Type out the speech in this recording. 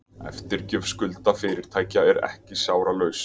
Eftirgjöf skulda fyrirtækja er ekki sársaukalaus